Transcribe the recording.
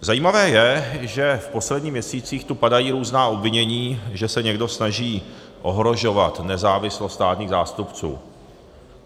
Zajímavé je, že v posledních měsících tu padají různá obvinění, že se někdo snaží ohrožovat nezávislost státních zástupců.